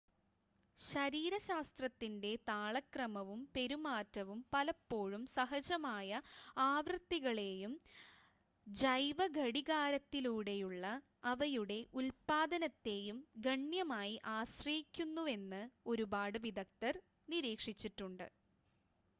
ശരീരശാസ്ത്രത്തിൻ്റെ താളക്രമവും പെരുമാറ്റവും പലപ്പോഴും സഹജമായ ആവൃത്തികളെയും ജൈവഘടികാരത്തിലൂടെയുള്ള അവയുടെ ഉൽപാദനത്തെയും ഗണ്യമായി ആശ്രയിക്കുന്നുവെന്ന് ഒരുപാട് വിദഗ്ദർ നിരീക്ഷിച്ചിട്ടുണ്ട്